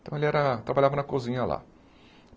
Então, ele era trabalhava na cozinha lá.